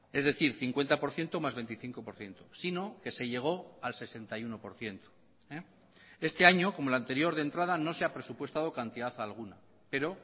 es decir cincuenta por ciento más veinticinco por ciento sino que se llegó al sesenta y uno por ciento este año como el anterior de entrada no se ha presupuestado cantidad alguna pero